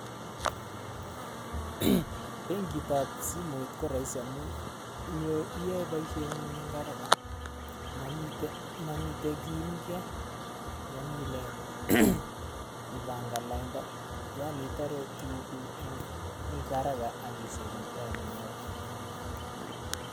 Benkitab simet ko raisi amun iyoe boisiengung eng haraka, mamitei kiimkei, mami ipangan lainda yaani itaare tuguuk eng haraka aki sefen time neo.